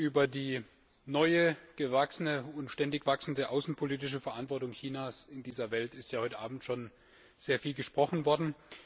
Über die neue, gewachsene und ständig wachsende außenpolitische Verantwortung Chinas in dieser Welt ist ja heute Abend schon sehr viel gesprochen worden.